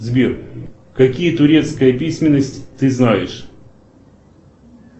сбер какие турецкая письменность ты знаешь